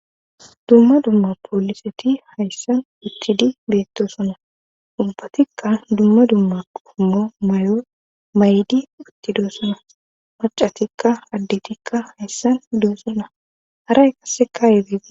dumma dumma pooliseti hayssan uttidi beettoosona;ubbatikka dumma dumma qommo mayo mayidi uttidosona maccatikka addetikka hayssan doosona; haray qassikka.